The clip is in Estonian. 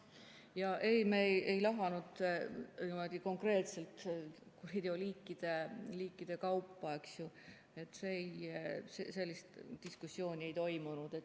Ja ei, me ei lahanud konkreetselt kuriteoliikide kaupa, sellist diskussiooni ei toimunud.